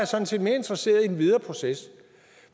sådan set mere interesseret i den videre proces